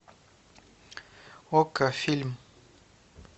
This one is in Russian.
окко фильм